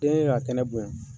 Den y'a kɛnɛ bonya.